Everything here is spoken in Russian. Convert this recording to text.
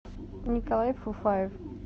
николай фуфаев